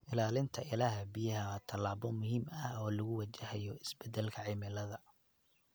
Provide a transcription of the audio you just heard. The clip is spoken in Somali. Ilaalinta ilaha biyaha waa tallaabo muhiim ah oo lagu wajahayo isbedelka cimilada.